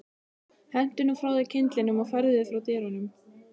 Hentu nú frá þér kyndlinum og færðu þig frá dyrunum